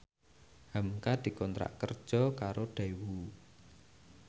hamka dikontrak kerja karo Daewoo